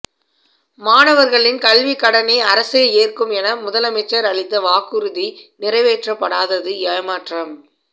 மாணவர்களின் கல்வி கடனை அரசே ஏற்கும் என முதலமைச்சர் அளித்த வாக்குறுதி நிறைவேற்றப்படாததது ஏமாற்றம்